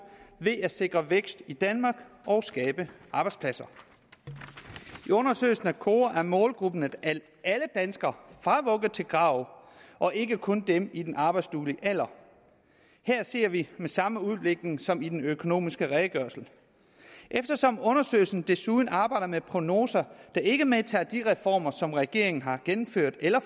ved at sikre vækst i danmark og skabe arbejdspladser i undersøgelsen kora er målgruppen alle danskere fra vugge til grav og ikke kun dem i den arbejdsduelige alder her ser vi den samme udvikling som i den økonomiske redegørelse eftersom undersøgelsen desuden arbejder med prognoser der ikke medtager de reformer som regeringen har gennemført eller